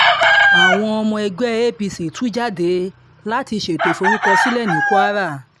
àwọn ọmọ ẹgbẹ́ apc tú jáde láti ṣètò ìforúkọsílẹ̀ ní kwara